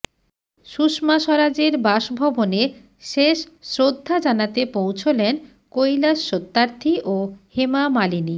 সুষমা স্বরাজের বাসভবনে শেষ শ্রদ্ধা জানাতে পৌঁছলেন কৈলাস সত্যার্থী ও হেমা মালিনী